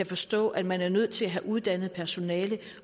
forstå at man er nødt til at have uddannet personale